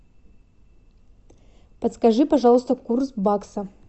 подскажи пожалуйста курс бакса